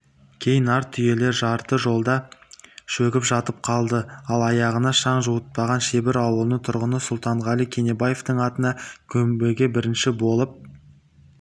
кей нар түйелер жарты жолда шөгіп жатып қалды ал аяғына шаң жуытпаған шебір ауылының тұрғыны сұлтанғали кенебаевтың атаны көмбеге бірінші болып